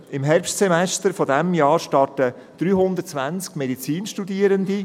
Im Herbstsemester dieses Jahres starten 320 Medizinstudierende.